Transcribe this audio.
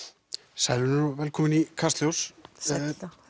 sæl og velkomin í Kastljós